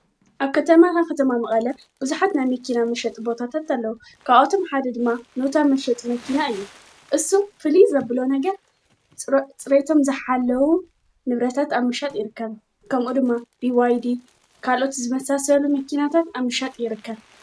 ።ኣብ ከተማታ ኽተማ መቓለ ብዙኃት ናመኪና ምሽጥ ቦታታት ኣለዉ ካዖቶም ሓደ ድማ ኑታ ምፈጥ መኪና እዩ እሱ ፍሊ ዘብሎ ነገር ጽሬቶም ዝኃለዉ ንብረታት ኣምሻጥ ይርከን ከምኡ ድማ ብዋይዲ ካልኦት ዝመሳሰሉ መኪናታት ኣምሻጥ ይርከብ።